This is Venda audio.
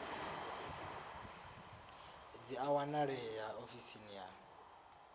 dzi a wanalea ofisini ya